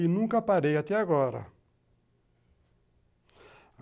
E nunca parei até agora.